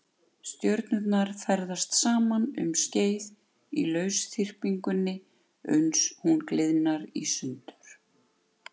Stjörnurnar ferðast saman um skeið í lausþyrpingunni uns hún gliðnar í sundur.